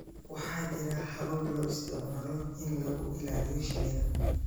Waxaa jira habab loo isticmaalo in lagu ilaaliyo shinida